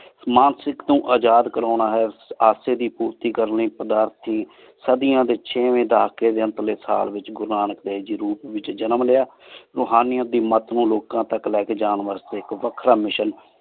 ਸ੍ਮੰਥ ਸਿੰਖ ਤੋ ਆਜ਼ਾਦ ਕਰਨਾ ਹੈ ਅੱਸੀ ਦੀ ਪਾਰਟੀ ਕਰਨ ਲੈ ਪਾਧਾਰਥੀ ਸਦਿਯਾਂ ਡੀ ਥ ਦਾਖਲੀ ਅੰਤ ਆਲੀ ਸਾਲ ਵਿਚ ਗੁਰੂ ਨਾਨਕ ਦੇਵ ਗੀ ਡੀ ਰੂਪ ਵਿਚ ਜਨਮ ਲ੍ਯ ਰੋਹਾਨਿਯਤ ਦੀ ਮਤ ਨੂ ਲੋਕਾਂ ਤਕ ਲੀ ਕੀ ਜਾਂ ਵਾਸ੍ਟੀ ਇਕ ਵਖਰਾ ‏Mission